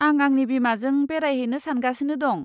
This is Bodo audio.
आं आंनि बिमाजों बेरायहैनो सानगासिनो दं।